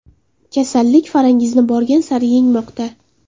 Kasallik Farangizni borgan sari yengmoqda.